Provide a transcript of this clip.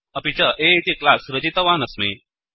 अपि च A इति क्लास् रचितवानस्मि